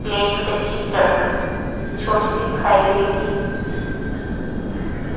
plane कच्ची सड़क छोटी सी दिखाई दे रही--